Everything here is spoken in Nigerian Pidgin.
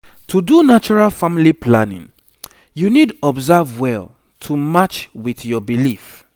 to do natural family planning you need observe well to match with your belief